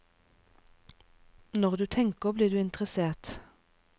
Når du tenker blir du interessert.